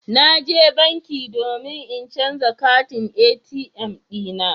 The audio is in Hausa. Na je banki domin in canza katin ATM dina.